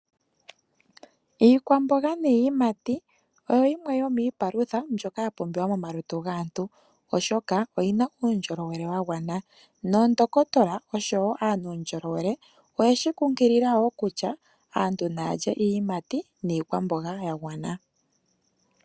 Iikwamboga niiyimati oyo yimwe yomiipalutha mbyoka yapumbiwa momalutu gaantu oshoka oyina uundjolowele wagwana ,noondohotola osho wo aanuundjolowele oyeshi kunkilila wo kutya aantu naya lye iiyimati niikwamboga yagwana.